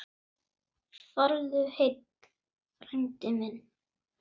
Farðu heill, frændi minn.